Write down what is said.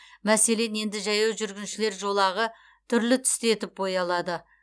мәселен енді жаяу жүргіншілер жолағы түрлі түсті етіп боялады